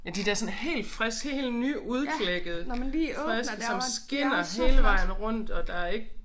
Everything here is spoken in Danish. Ja de der sådan helt friske helt nyudklækkede friske som skinner hele vejen rundt og der ikke